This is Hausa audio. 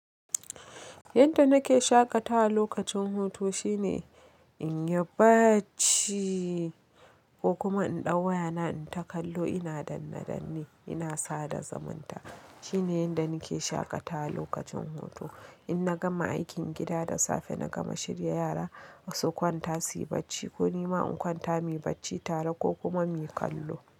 Yanda nake shaƙatawa lokacin hutu shine in yi bacci ko kuma in ɗau wayana in takallo. Ina danne danne, ina sada zumunta. Shine yanda nake shaƙatawa lokacin hutu. In na gama aikin gida da safe, na gama shirya yara, su kwanta suyi bacci ko ni ma in kwanta muyi bacci tare ko kuma muyi kallo.